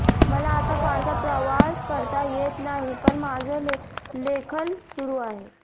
मला आता फारसा प्रवास करता येत नाही पण माझं लेखन सुरू आहे